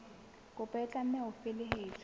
kopo e tlameha ho felehetswa